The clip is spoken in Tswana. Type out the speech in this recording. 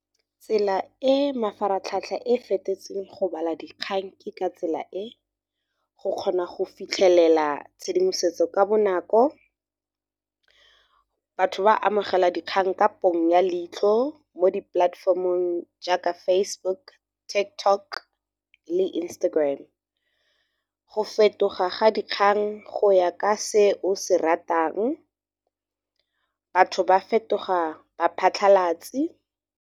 Tsela e mafaratlhatlha e fetetseng go bala dikgang ke ka tsela e, go kgona go fitlhelela tshedimosetso ka bonako. Batho ba amogela dikgang ka ponyo ya leitlho, mo di-platform-ong jaaka Facebook, Tiktok le Instagram go fetoga ga dikgang go ya ka se o se ratang batho ba fetoga baphatlhalatsi.